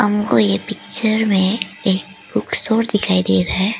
हमको ये पिक्चर में एक बुक स्टोर दिखाई दे रहा है।